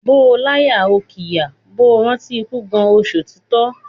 Bó o láyà o ṣìkà, bó o rántí ikú Gáà o ṣòtítọ́.